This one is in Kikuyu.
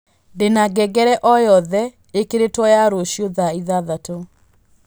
ndĩna ngengere oyothe ĩikĩrĩtwo ya rũciũ thaa ithathatũ